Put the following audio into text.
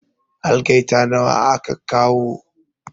Algaita nawa aka kawo?